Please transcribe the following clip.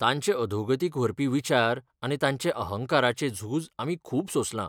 तांचे अधोगतिक व्हरपी विचार आनी तांचे अहंकाराचें झूज आमी खूब सोंसलां.